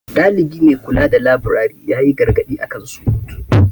Dalibi mai kula da laburare ya yi gargaɗi a kan surutu.